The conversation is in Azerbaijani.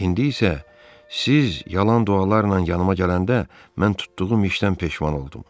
İndi isə siz yalan dualarla yanıma gələndə mən tutduğum işdən peşman oldum.